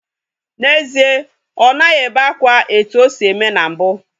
N'ezie, ọ naghị ebe akwa etu o si eme na mbu.